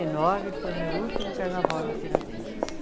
e nove foi o meu último carnaval na Tiradentes.